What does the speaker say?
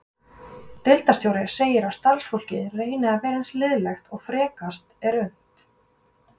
Deildarstjóri segir að starfsfólkið reyni að vera eins liðlegt og frekast er unnt.